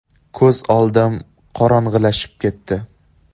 Ko‘z oldim qorong‘ilashib ketdi.